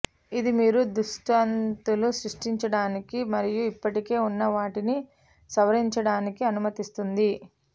ఇది మీరు దృష్టాంతాలు సృష్టించడానికి మరియు ఇప్పటికే ఉన్న వాటిని సవరించడానికి అనుమతిస్తుంది